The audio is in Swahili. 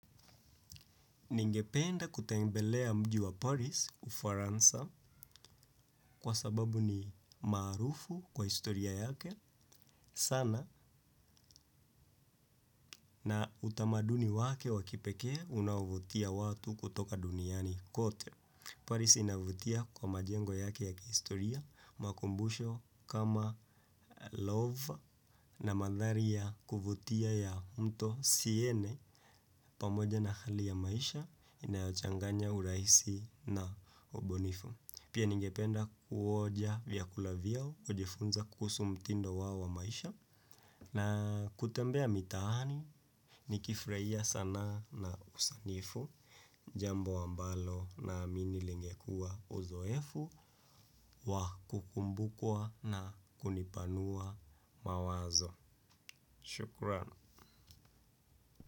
Ningependa kutembelea mji wa Paris ufaransa kwa sababu ni maarufu kwa historia yake sana na utamaduni wake wa kipekee unaovutia watu kutoka duniani kote. Paris inavutia kwa majengo yake ya kihistoria makumbusho kama love na madhari ya kuvutia ya mto siene pamoja na hali ya maisha inayochanganya urahisi na ubunifu. Pia ningependa kuonja vyakula vyao, kujifunza kuhusu mtindo wao wa maisha na kutembea mitaani, nikifurahia sanaa na usanifu. Jambo ambalo naamini lingekua uzoefu wa kukumbukua na kunipanua mawazo. Shukran.